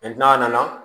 n'a nana